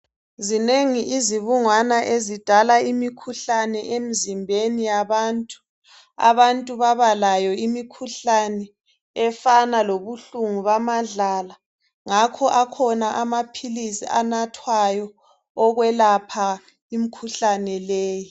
Zinengi izibungwana ezidal a imikhuhlane emzimbeni yabantu. Abantu baba layo imikhuhlane efana lobuhlungu bamadlala ngakho akhona amaphilisi anathwayo okwelapha imikhuhlane leyi.